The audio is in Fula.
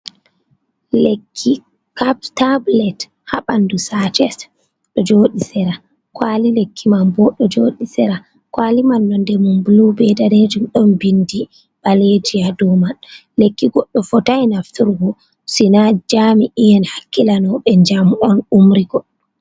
Lekkicap tablet habandu sachest do jodi sera kwali ,lekki man bo do jodi sera kwali man no de mum blube darejum don bindi balajia do man lekki goddo fotai naftarugo sina jami iyan hakkilanobe jamu on umri goɗdo.